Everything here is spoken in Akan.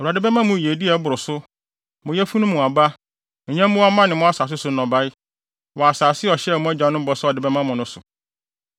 Awurade bɛma mo yiyedi a ɛboro so–mo yafunu mu aba, nyɛmmoa mma ne mo asase so nnɔbae—wɔ asase a ɔhyɛɛ mo agyanom bɔ sɛ ɔde bɛma mo no so.